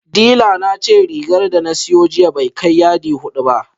Dila na ce rigar da na siyo jiya bai kai yadi hudu ba